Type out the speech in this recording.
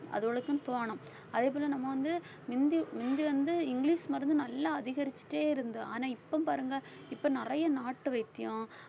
அதுகளுக்கும் தோணும் அதேபோல நம்ம வந்து மிந்தி மிந்தி வந்து இங்கிலிஷ் மருந்து நல்லா அதிகரிச்சுட்டே இருந்து ஆனா இப்ப பாருங்க இப்ப நிறைய நாட்டு வைத்தியம்